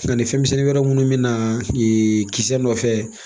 Ani fɛnmisɛnnin wɛrɛ minnu bɛ na kisɛ nɔfɛ